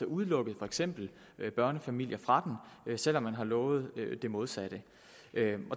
udelukket for eksempel børnefamilier fra den selv om man har lovet det modsatte